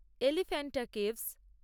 Elephanta caves